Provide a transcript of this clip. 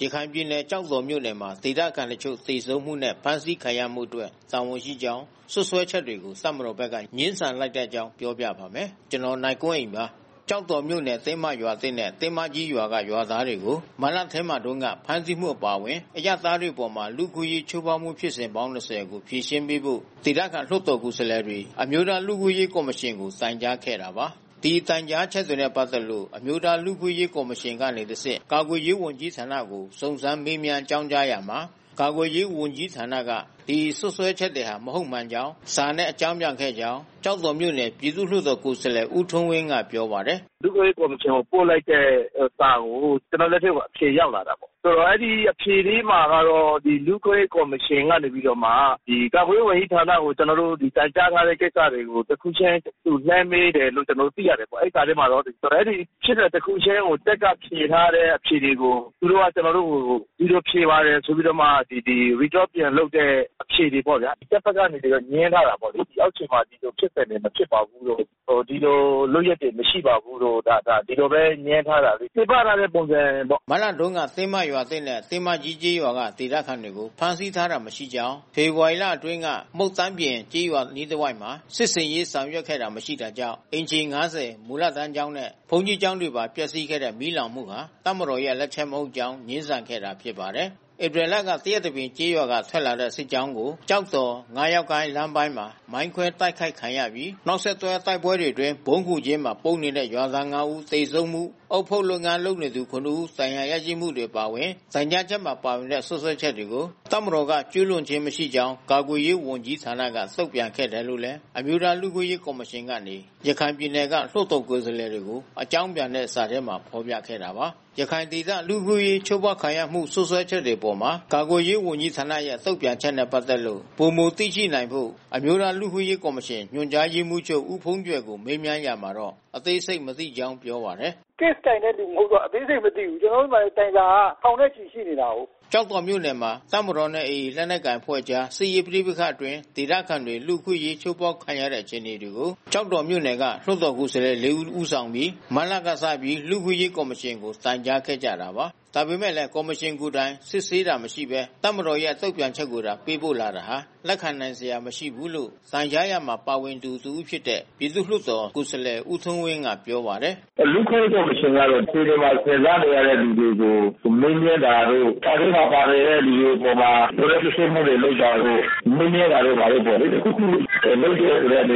ရခိုင်ပြည်နယ် ကျောက်တော်မြို့နယ်မှာ ဒေသခံတချို့ သေဆုံးမှုနဲ့ ဖမ်းဆီးခံရမှုတွေအတွက် တာဝန်ရှိကြောင်း စွပ်စွဲချက်တွေကို တပ်မတော်က ငြင်းဆန်လိုက်တဲ့အကြောင်း ပြောပြပါမယ်။ ဗွီအိုအေမြန်မာပိုင်း သတင်းထောက် ကိုနိုင်ကွန်းအိန်က သတင်းပေးပို့ထားပါတယ်။ ကျောက်တော်မြို့နယ် တင်းမရွာသစ်နဲ့ တင်းမကြီးရွာက ရွာသားတွေကို မတ်လထဲမှာတုန်းက ဖမ်းဆီးမှု အပါအဝင် အရပ်သားတွေအပေါ် လူ့အခွင့်အရေး ချိုးဖောက်မှု ဖြစ်စဉ်ပေါင်း ၂၀ ကို ဖြေရှင်းပေးဖို့ ဒေသခံလွှတ်တော်ကိုယ်စားလှယ်တွေ အမျိုးသားလူ့အခွင့်အရေး ကော်မရှင်ကို တိုင်ကြားခဲ့တာပါ။ ဒီတိုင်ကြားချက်တွေနဲ့ ပတ်သက်ပြီး အမျိုးသားလူ့အခွင့်အရေး ကော်မရှင်ကနေတဆင့် ကာကွယ်ရေးဝန်ကြီးဌာနသို့ စုံးစမ်းမေးမြန်း အကြောင်းကြားရာမှာ ကာကွယ်ရေးဝန်ကြီးဌာနက စွပ်စွဲချက်တွေဟာ မဟုတ်မှန်ကြောင်း စာနဲ့အကြောင်းပြန်ခဲ့ကြောင်း ကျောက်တော်မြို့နယ် ပြည်သူလွှတ်တော်ကိုယ်စားလှယ် ဦးထွန်းဝင်းက ပြောပါတယ်။ “လူ့အခွင့်အရေးကော်မရှင်ကို ပို့လိုက်တဲ့ စာကို ကျနော့်ဆီကို အဖြေရောက်လာတာပေါ့။ ဒီလူ့အခွင့်အရေး ကော်မရှင်က ကာကွယ်ရေးဝန်ကြီးဌာနကို ကျနော်တို့ တိုင်ကြားထားတဲ့ကိစ္စတွေကိုတခုချင်း သူလှမ်းမေးတယ်လို့ ကျနော်တို့ သိရတာပေ့ါနော်။ အဲဒီစာထဲမှာတော့ ဖြစ်စဉ်တခုချင်းကို တပ်ကဖြေထားတဲ့အဖြေတွေကို သူတို့က ကျနော်တို့ကို ဒီလိုဖြေပါတယ်ဆိုပြီးမှ Record ပြန်လုပ်တဲ့အဖြေတွေပေါ့ဗျာ။ တပ်ဘက်က သူတွေငြင်းထားတာပေါ့။ အောက်ခြေမှာ ဒီလိုဖြစ်စဉ်တွေ မဖြစ်ပါဘူးလို့ ဒီလိုလုပ်ရပ်တွေ မရှိပါဘူးလို့ ဒီလိုပဲ ငြင်းထားတယ်၊ ခြေပထားတဲ့ပုံစံပေါ့။” မတ်လတုန်းက တင်းမရွာသစ်နဲ့ တင်းမကြီးကျေးရွာက ဒေသခံတွေကို ဖမ်းဆီးတာမရှိကြောင်း၊ ဖေဖော်ဝါရီလ အတွင်းက မုန့်သန်းပြင် ကျေးရွာအနီးတစ်ဝိုက်မှာ စစ်ဆင်ရေးဆောင်ရွက်တာမရှိခဲ့တာကြောင့် အိမ်ခြေ ၅၀၊ မူလတန်းကျောင်းနဲ့ ဘုန်းကြီးကျောင်းတွေပါ ပျက်စီးခဲ့တဲ့ မီးလောင်မှုဟာ တပ်မတော်ရဲ့လက်ချက်မဟုတ်ကြောင်း ငြင်းဆန်ခဲ့တာဖြစ်ပါတယ်။ ဧပြီလက သရက်တပင်ကျေးရွာကနေ ထွက်လာတဲ့ တပ်မတော်စစ်ကြောင်းကို ကျောက်တော်-ငါးယောက်ကိုင်း လမ်းပိုင်းမှာ မိုင်းခွဲတိုက်ခိုက်ခံခဲ့ရပြီး နောက်ဆက်တွဲ တိုက်ပွဲတွေအတွင်း ဗုံးခိုကျင်းမှာ ပုန်းနေတဲ့ရွာသား ၅ ဦး သေဆုံးမှု၊ အုတ်ဖုတ်လုပ်ငန်းလုပ်နေသူ ၇ ဦးဒဏ်ရာရရှိမှုတွေ အပါအဝင် တိုင်ကြားချက်မှာ ပါဝင်တဲ့ စွပ်စွဲချက်တွေကို တပ်မတော်က ကျူးလွန်ခြင်းမရှိကြောင်း ကာကွယ်ရေးဝန်ကြီးဌာနက တုံ့ပြန်ခဲ့တယ်လို့လည်း အမျိုးသားလူ့အခွင့်အရေး ကော်မရှင်ကနေ ရခိုင်ပြည်နယ်က လွှတ်တော်ကိုယ်စားလှယ်တွေကို အကြောင်းပြန်တဲ့စာမှာ ဖေါ်ပြခဲ့တာပါ။ ရခိုင်ဒေသ လူ့အခွင့်အရေးချိုးဖေါက်ခံရမှု စွပ်စွဲချက်တွေအပေါ် ကာကွယ်ရေးဝန်ကြီးဌာနရဲ့ တုံ့ပြန်ချက်နဲ့ ပတ်သက်လို့ ပိုမိုသိရှိနိုင်ဖို့ အမျိုးသားလူ့အခွင့်အရေးကော်မရှင် ညွှန်ကြားရေးမှူးချုပ် ဦးဘုန်းကြွယ်ကို မေးမြန်းရာမှာတော့ အသေးစိတ်မသိကြောင်း ပြောပါတယ်။ “Case ကိုင်တဲ့သူမဟုတ်တော့ အသေးစိတ်မသိဘူး။ ကျနော်တို့ဆီမှာ တိုင်စာက ထောင်နဲ့ချီရှိနေတာကိုး။” ကျောက်တော်မြို့နယ်မှာ တပ်မတော်နဲ့ AA လက်နက်ကိုင်အဖွဲ့ကြား စစ်ရေးပဋိပက္ခတွေအတွင်း ဒေသခံတွေ လူ့အခွင့်အရေး ချိုးဖေါက်ခံရတဲ့ အခြေအနေတွေကို ကျောက်တော်မြို့နယ်က လွှတ်တော်ကိုယ်စားလှယ် ၄ ဦးက ဦးဆောင်ပြီး မတ်လကစ လူ့အခွင့်အရေးကော်မရှင်ကို တိုင်ကြားခဲ့ကြတာပါ။ ဒါပေမဲ့လည်း ကော်မရှင်ကိုယ်တိုင် စစ်ဆေးတာ မရှိဘဲ တပ်မတော်ရဲ့ တုံ့ပြန်ချက်ကိုသာ ပေးပို့လာတာဟာ လက်ခံနိုင်စရာ မရှိဘူးလို့ တိုင်ကြားရာမှာ ပါဝင်သူတဦးဖြစ်တဲ့ ပြည်သူ့လွှတ်တော်ကိုယ်စားလှယ်ဦးထွန်းဝင်းက ပြောပါတယ်။ “လူ့အခွင့်အရေးကော်မရှင်ကတော့ ကိုယ်တိုင်ခံစားနေရတဲ့သူတွေကို မေးမြန်းတာတို့ စာထဲမှာပါနေတဲ့လူတွေ အပေါ်မှာ လိုအပ်စစ်ဆေးမှုတွေ လုပ်တာတို့ မေးမြန်းတာတို့ပေါ့လေ တခုခုလုပ်တဲ့ အနေ